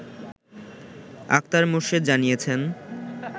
আক্তার মোর্শেদ জানিয়েছেন